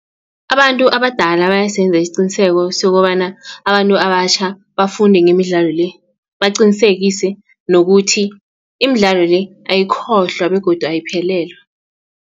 Abantu abadala bayasenza isiqiniseko sokobana abantu abatjha bafunde ngemidlalo le baqinisekise nokuthi imidlalo le ayikhohlwa begodu ayiphelelwa.